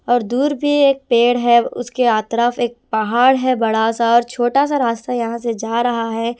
और दूर भी एक पेड़ है उसके यात्रा पे एक पहाड़ है बड़ा सा और छोटा सा रास्ता यहां से जा रहा है।